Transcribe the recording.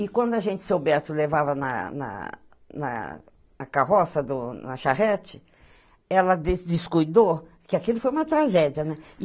E quando a gente seu Beto levava na na na na carroça, do, na charrete, ela descuidou que aquilo foi uma tragédia, né?